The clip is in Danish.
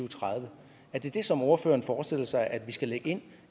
tredive er det det som ordføreren forestiller sig at vi skal lægge ind